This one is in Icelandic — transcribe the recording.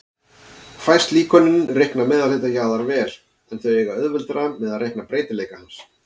Fæst líkönin reikna meðalhita jarðar vel, en þau eiga auðveldara með að reikna breytileika hans.